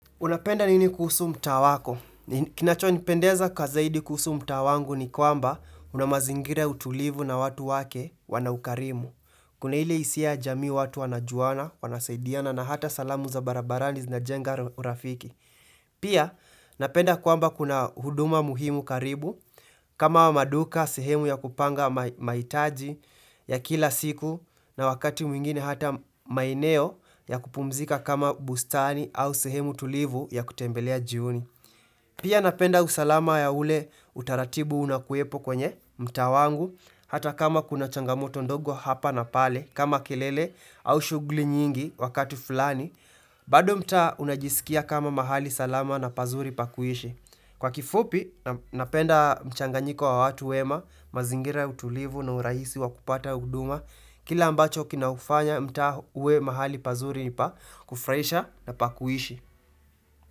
Unapenda nini kuhusu mtaa wako? Kinacho nipendeza kwa zaidi kuhusu mtaa wangu ni kwamba una mazingira ya utulivu na watu wake wana ukarimu. Kuna ile hisia jamii watu wanajuana, wanasaidiana na hata salamu za barabarani zinajenga urafiki. Pia, napenda kwamba kuna huduma muhimu karibu. Kama wa maduka, sehemu ya kupanga mahitaji ya kila siku na wakati mwingine hata maeneo ya kupumzika kama bustani au sehemu tulivu ya kutembelea jioni. Pia napenda usalama ya ule utaratibu unakuwepo kwenye mtaa wangu hata kama kuna changamoto ndogo hapa na pale kama kilele au shughuli nyingi wakati fulani bado mtaa unajisikia kama mahali salama na pazuri pa kuishi. Kwa kifupi napenda mchanganyiko wa watu wema mazingira ya utulivu na urahisi wakupata huduma Kile ambacho kinaufanya mtaa uwe mahali pazuri ni pa kufraisha na pakuishi.